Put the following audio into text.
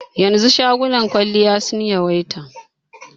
Yanzu shagunan kwalliya sun yawaita.